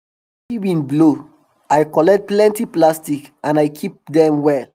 as the heavy wind blow i collect plenty plastic and i keep dem well